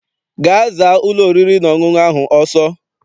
Gaa zaa ụlọ oriri na ọṅụṅụ ahụ ọsọ!